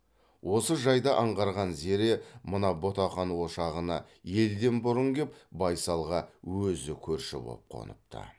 осы жайды аңғарған зере мына ботақан ошағына елден бұрын кеп байсалға өзі көрші боп қоныпты